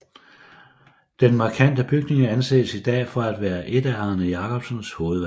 Den markante bygning anses i dag for at være et af Arne Jacobsens hovedværker